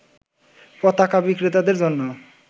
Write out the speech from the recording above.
পতাকা বিক্রেতাদের জন্য